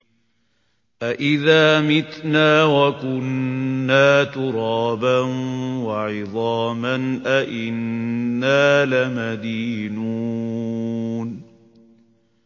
أَإِذَا مِتْنَا وَكُنَّا تُرَابًا وَعِظَامًا أَإِنَّا لَمَدِينُونَ